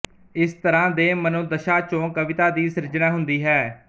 ਇਸ ਤਰ੍ਹਾਂ ਦੇ ਮਨੋਦਸ਼ਾ ਚੋਂ ਕਵਿਤਾ ਦੀ ਸਿਰਜਣਾ ਹੁੰਦੀ ਹੈ